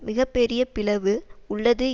மிக பெரிய பிளவு உள்ளது